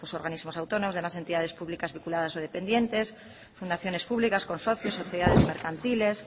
los organismos autónomos de las entidades públicas vinculadas o dependientes fundaciones públicas consorcios sociedades mercantiles